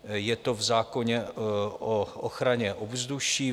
Je to v zákoně o ochraně ovzduší.